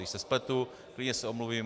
Když se spletu, klidně se omluvím.